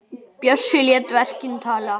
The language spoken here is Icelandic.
Bjössi lét verkin tala.